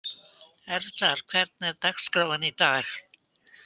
Erlar, hvernig er dagskráin í dag?